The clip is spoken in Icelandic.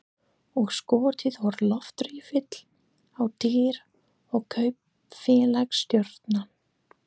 Og skotið úr loftriffli á dýr og kaupfélagsstjórann.